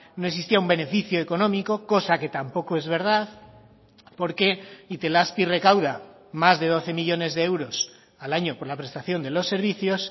no existía un beneficio económico cosa que tampoco es verdad porque itelazpi recauda más de doce millónes de euros al año por la prestación de los servicios